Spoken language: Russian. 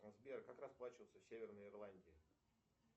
сбер как расплачиваться в северной ирландии